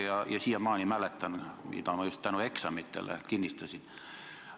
Ja ma siiamaani mäletan seda, mida just tänu eksamitele kinnistasin.